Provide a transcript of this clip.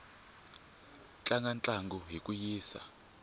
tlanga ntlangu hi ku yisa